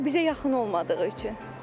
Bazar bizə yaxın olmadığı üçün.